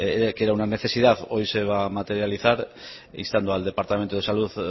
que era una necesidad hoy se va a materializar instando al departamento de salud